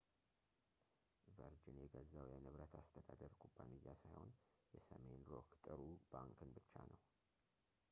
ቨርጅን የገዛው የንብረት አስተዳደር ኩባንያ ሳይሆን የሰሜን ሮክ ጥሩ ባንክን ብቻ ነው